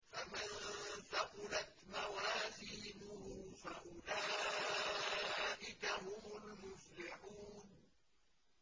فَمَن ثَقُلَتْ مَوَازِينُهُ فَأُولَٰئِكَ هُمُ الْمُفْلِحُونَ